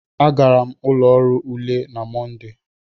Agara m ụlọ ọrụ ule na Mọnde.